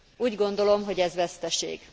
Úgy gondolom, hogy ez veszteség.